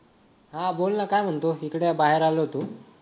हा बोल ना काय म्हणतो इकडे बाहेर आलो होतो